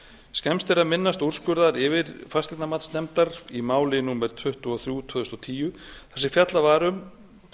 skemmst er að minnast úrskurðar yfirfasteignamatsnefndar í máli númer tuttugu og þrjú tvö þúsund og tíu þar sem fjallað var um